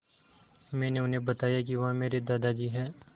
मैंने उन्हें बताया कि वह मेरे दादाजी हैं